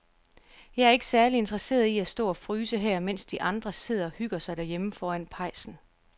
Jeg er ikke særlig interesseret i at stå og fryse her, mens de andre sidder og hygger sig derhjemme foran pejsen.